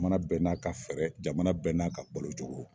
mana bɛɛ n'a ka fɛɛrɛ jamana bɛɛ n'a ka balocogo.